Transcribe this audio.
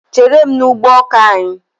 Chéré m n' ụgbọ ọkà anyị!!!!!